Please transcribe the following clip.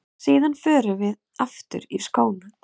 Síðan förum við aftur í skóna.